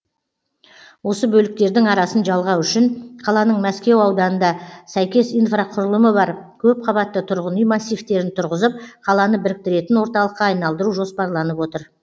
осы бөліктердің арасын жалғау үшін қаланың мәскеу ауданында сәйкес инфрақұрылымы бар көпқабатты тұрғын үй массивтерін тұрғызып қаланы біріктіретін орталыққа айналдыру жоспарланып отыр